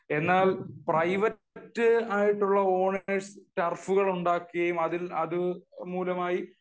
എന്നാൽ പ്രൈവറ്റ് ആയിട്ടുള്ള ഓണേഴ്സ് ടർഫുകൾ ഉണ്ടാക്കി അതുമൂലമായി